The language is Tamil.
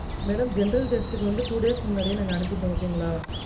madam general test க்கு வந்து two days முன்னாடியே நாங்க அனுபிட்டொம் okay ங்கலா